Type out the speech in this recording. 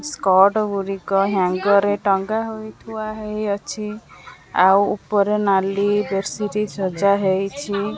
Skirt ଗୁଡିକ ହାଙ୍ଗ ରେ ଟଙ୍ଗାହୋଇ ଥୁଆହେଇଅଛି ଆଉ ଉପରେ ନାଲି ବେଡସିଟ୍ ସଜା ହେଇଛି।